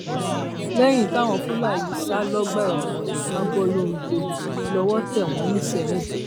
lẹyìn táwọn fúlàní yìí sá lọgbà ẹwọn abọlongo lowó tẹ wọn nisẹyìn